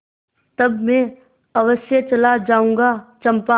तब मैं अवश्य चला जाऊँगा चंपा